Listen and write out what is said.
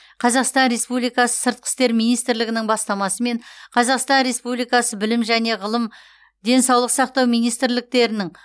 қазақстан республикасы сыртқы істер министрлігінің бастамасымен қазақстан республикасы білім және ғылым денсаулық сақтау министрліктерінің